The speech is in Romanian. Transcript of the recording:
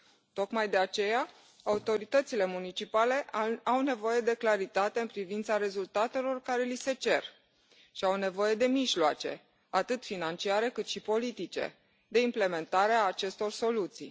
Tocmai de aceea, autoritățile municipale au nevoie de claritate în privința rezultatelor care li se cer și au nevoie de mijloace, atât financiare, cât și politice de implementare a acestor soluții.